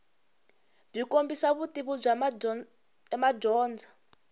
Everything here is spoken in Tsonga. byi kombisa vutivi bya madyondza